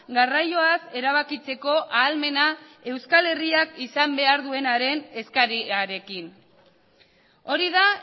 garraioaz erabakitzeko ahalmena euskal herriak izan behar duenaren eskariarekin hori da